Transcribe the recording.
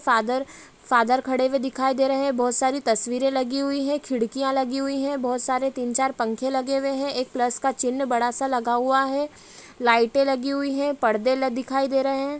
Father father खड़े हुए दिखाई दे रहे हैं बहुत सारी तस्वीरे लगी हुई हैं खिड़खिया लगि हुई हैं बहुत सारे तीन चार पंखे लगे हुए हैं एक प्लस का चिन्ह बड़ा सा लगा हुआ हैं लाइटे लगी हुई हैं परदे ल दिखाई दे रहे हैं।